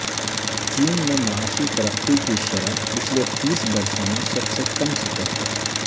چین میں معاشی ترقی کی شرح پچھلے تیس برسوں میں سب سے کم سطح پر